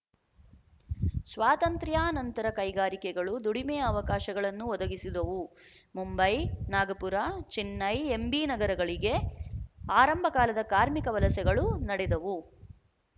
ಸ್ವಾತಂತ್ರ್ಯಾನಂತರ ಕೈಗಾರಿಕೆಗಳು ದುಡಿಮೆಯ ಅವಕಾಶಗಳನ್ನು ಒದಗಿಸಿದವು ಮುಂಬೈ ನಾಗಪುರ ಚೆನ್ನೈ ಎಂಬೀ ನಗರಗಳಿಗೆ ಆರಂಭಕಾಲದ ಕಾರ್ಮಿಕ ವಲಸೆಗಳು ನಡೆದವು